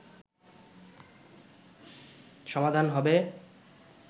সমাধান হবে”